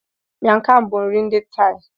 Miang Kham bụ nri ndi Thai.